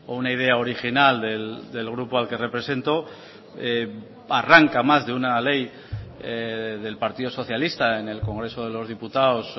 una idea original del grupo al que represento arranca más de una ley del partido socialista en el congreso de los diputados